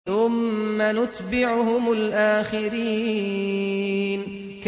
ثُمَّ نُتْبِعُهُمُ الْآخِرِينَ